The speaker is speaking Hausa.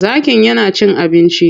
Zakin ya na cin abinci.